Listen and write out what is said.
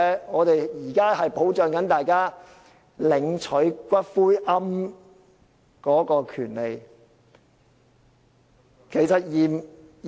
我們現在是要保障大家領取骨灰龕的權利......